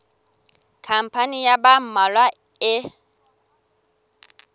khampani ya ba mmalwa e